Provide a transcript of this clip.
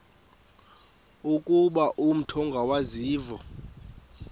ukuba umut ongawazivo